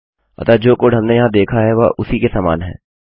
अतः जो कोड हमने यहाँ देखा है वह उसी के समान है